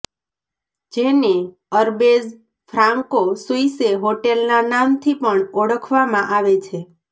જેને Arbez Franco Suisse હોટેલના નામથી પણ ઓળખવામાં આવે છે